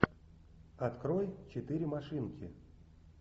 открой четыре машинки